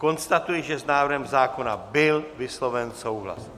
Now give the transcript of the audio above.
Konstatuji, že s návrhem zákona byl vysloven souhlas.